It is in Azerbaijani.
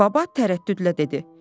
Baba tərəddüdlə dedi.